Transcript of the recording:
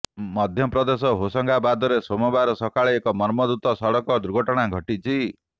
ମଧ୍ୟପ୍ରଦେଶର ହୋଶଙ୍ଗାବାଦରେ ସୋମବାର ସକାଳେ ଏକ ମର୍ମନ୍ତୁଦ ସଡ଼କ ଦୁର୍ଘଟଣା ଘଟିଛି